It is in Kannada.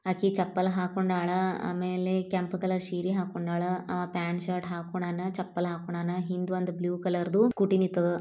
ಆಕೀ ಚಪ್ಪಲ್ ಹಾಕೊಂಡಾಳ ಅಮೇಲಿ ಕೆಂಪ್ ಕಲರ್ ಸೀರೀ ಹಾಕೊಂಡಾಳ ಆ ಪ್ಯಾಂಟ್ ಶರ್ಟ್ ಹಾಕೊಂಡಾನ ಚಪ್ಪಲ್ ಹಾಕೊಂಡಾನಾ ಹಿಂದೊಂದ್ ಬ್ಲೂ ಕಲರ್ ದೂ ಸ್ಕೂಟಿ ನಿಂತದ.